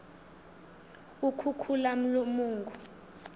ukhukhulamungu